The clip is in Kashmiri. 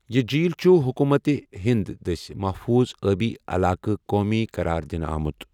یہِ جھیٖل چُھ حكوُمت ہِنٛد دٕسۍ محفوٗظ ٲبی علاقہٕ قومی قراردِنہٕ آمُت۔